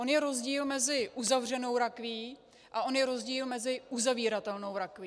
On je rozdíl mezi uzavřenou rakví a on je rozdíl mezi uzavíratelnou rakví.